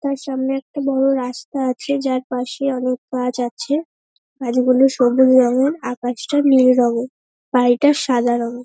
তার সামনে একটা বড় রাস্তা আছে যার পাশে অনেক গাছ আছে। গাছগুলো সবুজ রঙের আকাশটা নীল রঙের বাড়িটা সাদা রঙের ।